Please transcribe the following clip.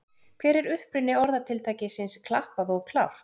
Hver er uppruni orðatiltækisins klappað og klárt?